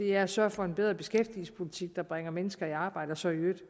er at sørge for en bedre beskæftigelsespolitik der bringer mennesker i arbejde og så i øvrigt